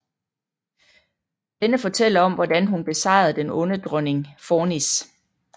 Denne fortæller om hvordan hun besejrede den onde dronning Fornis